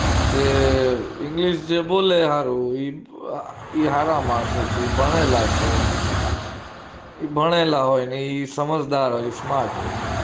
જે english જે બોલે હારું એ હારા માણસો છે એ ભણેલા છે એ ભણેલા હોય એ સમજદાર હોય એ smart હોય